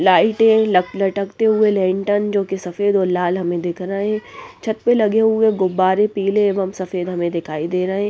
लाइटें लटकते हुए लेंटर्न जो कि सफेद और लाल हमें दिख रहे हैं छत पर लगे हुए गुब्बारे पीले एवं सफेद हमें दिखाई दे रहे हैं।